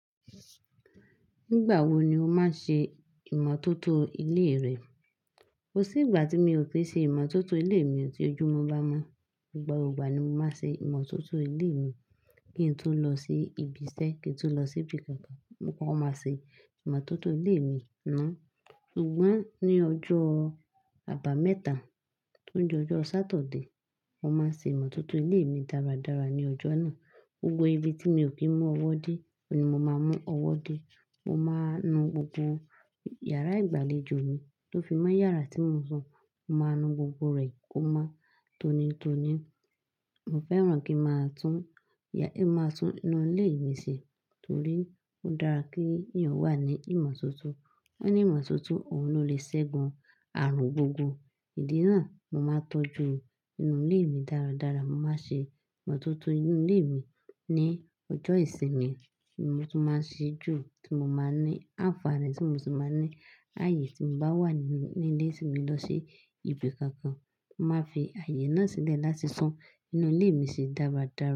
Nígbà wo ni o máa ń ṣe ìmọ́tótó ilé rẹ? Kò sí ìgbà tí mi ò ti ṣe ìmọ́tótó ilé mi ọ̀tí ojú mi bá mọ́. Nígbà gbogbo igba ni mo máa ń ṣe ìmọ́tótó ilé mi. Kí n tó lọ sí ibiṣẹ́, kí n tó lọ sí ibi kankan, mo máa ń ṣe ìmọ́tótó ilé mi ná. Sugbọn ní ọjọ́ àbámẹ́ta tó ń jẹ́ ọjọ́ Satọde, mo máa ń ṣe ìmọ́tótó ilé mi dáradára ní ọjọ́ náà. Gbogbo ibi tí mi ò kí ń mú ọwọ́ dé, òun ní mo máa mú ọwọ́ dé. Mo máa nu gbogbo yàrá ìgbàlejò mi tó fi mọ́ yàrá tí mo ń sùn. Mo máa nu gbogbo rẹ̀ kó má tó ni tó ni. Mo fẹ́ràn kí a máa tún ya-- kí a máa tún nu ilé mi ṣe torí ó dára kí èèyàn wà ní ìmọ́tótó. Ó ní ìmọ́tótó, òun ló lè ṣẹ́gun àrùn gbogbo. Ìdí náà, mo máa ń tọ́jú inú ilé mi dáradára. Mo máa ń ṣe ìmọ́tótó inú ilé mi ní ọjọ́ ìsinmi tí mo tún máa ń ṣí jù, tí mo máa ń ní àǹfààní, tí mo sì máa ń ní ààyè tí mo bá wà nínú ilé mi lọ sí ibi kankan. Mo máa ń fi ààyè náà sílẹ̀ láti sún inú ilé mi se dáradára.